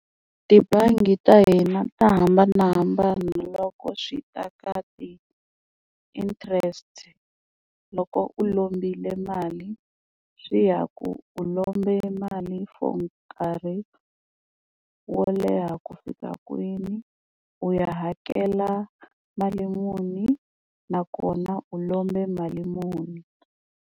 Tibangi ta hina ta hambanahambana loko swi ta ka ti-interest loko u lombile mali swi ya ku u lomba mali for nkarhi wo leha ku fika kwini u ya hakela mali muni nakona u lombe mali muni.